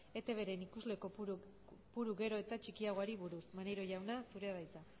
etbren ikusle kopuru gero eta txikiagoari buruz maneiro jauna zurea da hitza